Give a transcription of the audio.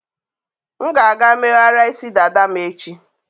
M ga-aga megharịa isi dada m echi.